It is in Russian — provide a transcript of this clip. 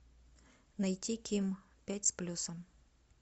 найти ким пять с плюсом